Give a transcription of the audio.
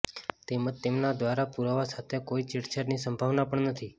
તેમજ તેમના દ્વારા પુરાવા સાથે કોઇ છેડછાડની સંભાવના પણ નથી